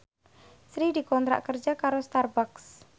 Sri dikontrak kerja karo Starbucks